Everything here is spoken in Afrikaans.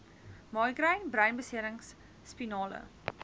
migraine breinbeserings spinale